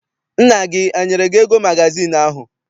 Nna gị enyere gị ego magazịịnụ ahụ?